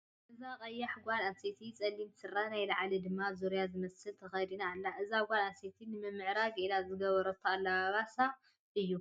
እዛ ቀያሕ ጓለ ኣነስተይቲ ፀሊም ስረን ናይ ላዕሊ ድማ ዙርያ ዝመስል ተከዲና ኣላ። እዛ ጓለ ኣነስተይቲ ንምምዕራግ ኢላ ዝገበረቶ ኣለባብሳ እዩ።